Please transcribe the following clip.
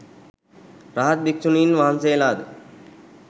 රහත් භික්‍ෂුණීන් වහන්සේලා ද